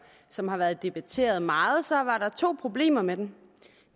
som har været debatteret meget så var der to problemer med den